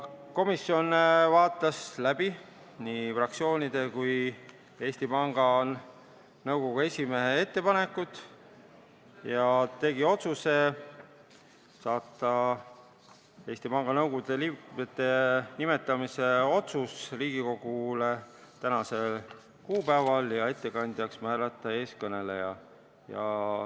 Komisjon vaatas läbi nii fraktsioonide kui ka Eesti Panga Nõukogu esimehe ettepanekud ning otsustas saata Eesti Panga Nõukogu liikmete nimetamise otsuse Riigikogu ette tänaseks kuupäevaks ja määrata ettekandjaks eeskõneleja.